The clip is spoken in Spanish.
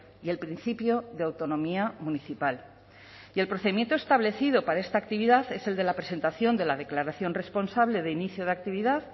y el principio de autonomía municipal y el procedimiento establecido para esta actividad es el de la presentación de la declaración responsable de inicio de actividad